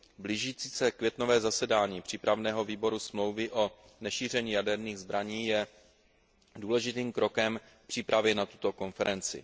Blížící se květnové zasedání přípravného výboru Smlouvy o nešíření jaderných zbraní je důležitým krokem v přípravě na tuto konferenci.